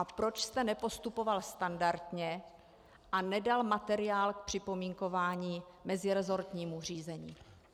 A proč jste nepostupoval standardně a nedal materiál k připomínkování meziresortnímu řízení?